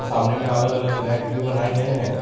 सामने में अलग अलग रैक भी बनाए गए हैं।